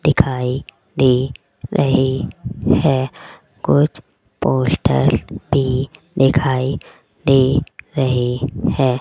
दिखाई दे रही है कुछ पोस्ट भी दिखाई दे रही है।